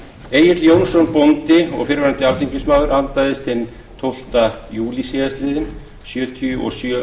egill jónsson bóndi og fyrrverandi alþingismaður andaðist hinn tólfta júlí síðastliðinn sjötíu og sjö